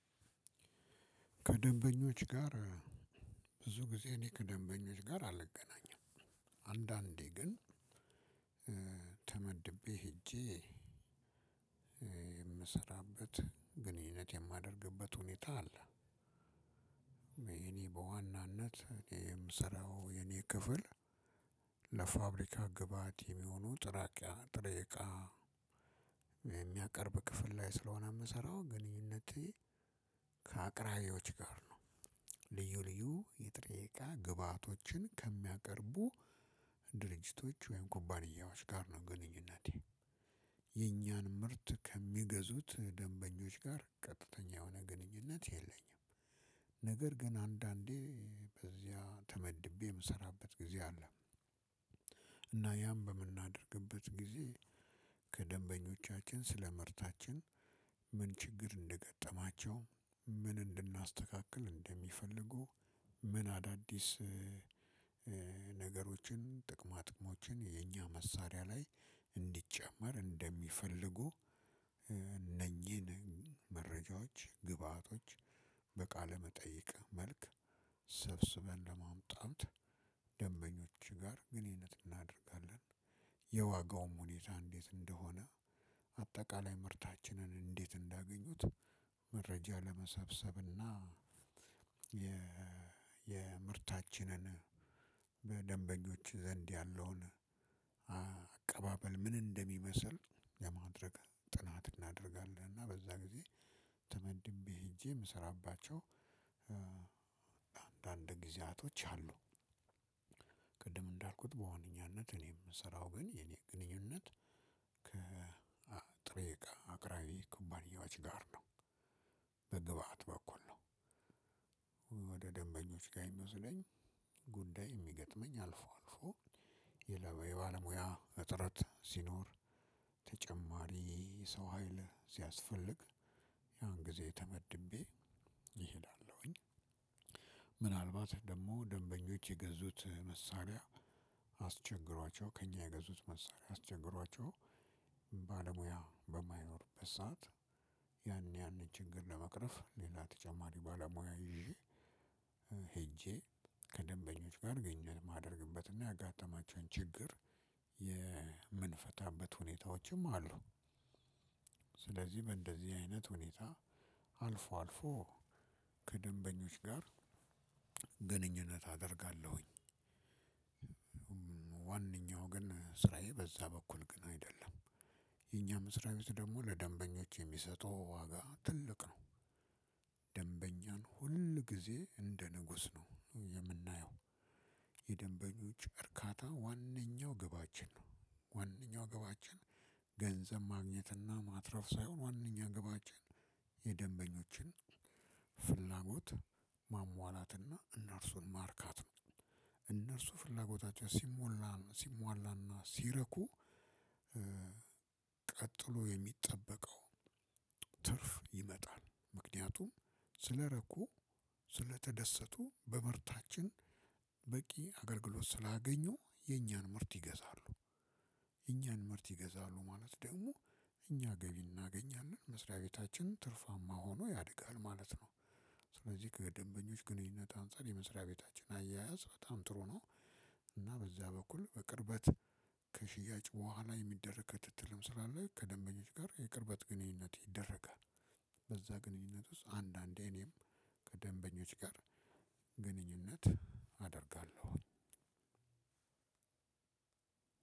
ከደንበኞች ጋር ብዙ ጊዜ እኔ ከደንበኞች ጋር አልገናኝም። አንዳንዴ ግን ተመድቤ ሄጄ እምሰራበት ግንኙነት የማደርግበት ሁኔታ አለ። እኔ በዋናነት የምስራው የኔ ክፍል። ለፋብሪካ ግበአት የሚሆኑ ጥሬ ጥሬቃ የሚያቀርብ ክፍል ላይ ስለሆነ የምሰራው ግንኙነቴ ከአቅራቢዮች ጋር ነው። ልዩ ልዩ የጥሪ እቃ ግብአቶችን ከሚያቀርቡ ወይም ኩባንያዎች ጋር ነው ግንኙነቴ። የኛን ምርት ከሚገዙት ደንበኞች ጋር ቀጥተኛ የሆነ ግንኙነት የለኝም። ነገር ግን አንዳንዴ በዚያ ተመድቤ እምሰራበት ጊዜ አለ። እና ያም በምናደርግበት ጊዜ ከደንበኞቻችን ስለመርታችን ምን ችግር እንደገጠማቸው ምን እንድናስተካክል እንደሚፈልጉ ምን አዳዲስ ነገሮችን የኛ መሳሪያ ላይ እንዲጨመር እንደሚፈልጉ እነኚህን መረጃዎች ግብአቶች በቃለ መጠይቅ መልክ ሰብስበን ለማምጣት ደንበኞች ጋር ግንኘነት እናደርጋለን። የዋጋውም ሁኔታ እንዴት እንደሆነ አጠቃላይ ምርታችን እንዴት እንዳገኙት መረጃ ለመሰብሰብ እና የ የምርታችንን በደንበኞች ዘንድ ያለውን አቀባበል ምን እንደሚመስል ለማድረግ ጥናት እናደርጋለን። እና በዛ ጊዜ ተመድቤ ሄጄ እምሰራባቸው አንዳንድ ጊዜያቶች አሉ። ቅድም እንዳልኩት በሆነኛነት እኔም እምሰራው ግን የኔ ግንኙነት ከጥሬቃ አቅራቢ ኩባንያዎች ጋር ነው። በግብአት በኩል ወደ ደንበኞች ጋር የሚወስደኝ ጉዳይ የሚገጥመኝ አልፎ አልፎ የባለሙያ እጥረት ሲኖር ተጨማሪ ሰው ሀይል ሲያስፈልግ ያን ጊዜ ተመድቤ እሄዳለሁኝ። ምናልባት ደግሞ ደንበኞች የገዙት መሳሪያ አስቸግሯቸው ከእኛ የገዙት መሳሪያ አስቸግሯቸው ባለሙያ በማይኖርበት ሰዓት ያን ያን ችግር ለመቅረፍ ሌላ ተጨማሪ ባለሙያ ይዤ ሄጄ ከደንበኞች ጋር ግንኙነት እማደርግበትና ያጋጠማቸውን ችግር የምንፈታበት ሁኔታዎችም አሉ። ስለዚህ በእንደዚህ አይነት ሁኔታ አልፎ አልፎ ከደንበኞች ጋር ግንኙነት አደርጋለሁኝ። ዋነኛው ግን ስራየ በዛኛው በኩል አይደለም። የኛ መስሪያቤት ደግሞ ለደንበኞች የሚሰጠው ዋጋ ትልቅ ነው። ደንበኛን ሁል ጊዜ እንደ ንጉስ ነው የምናየው። የደንበኞች እርካታ ዋነኛው ግባችን ነው። ዋናው ግባችን ገንዘብ ማግኘትና ማትረፍ ሳይሆን ዋናው ግባችን የደንበኞችን ፍላጎት ማሟላትና እነርሱን ማርካት ነው። እነርሱ ፍላጎታቸው ሲሞላ ሲሟላና ሲረኩ ቀጥሎ የሚጠበቀው ትርፍ ይመጣል። ምክንያቱም ስለረኩ ስለተደሰቱ በምርታችን በቂ አገልግሎት ስላገኙ የኛን ምርት ይገዛሉ። የኛን ምርት ይገዛሉ ማለት ደግሞ እኛ ገቢ እናገኛለን መስሪያ ቤታችን ትርፋማ ሆኖ ያድጋል ማለት ነው። ስለዚህ ከደንበኞች ግንኙነት አንፃር የመስሪያ ቤታችን አያያዝ በጣም ጥሩ ነው። እና በዚያ በኩል በቅርበት ከሽያጭ በኋላ የሚደረግ ከትትልም ስላለ ከደንበኞች ጋር የቅርበት ግንኙነት ይደረጋል። በዛ ግንኙነት ውስጥ አንዳንዴ እኔም ከደንበኞች ጋር ግንኙነት አደርጋለሁ።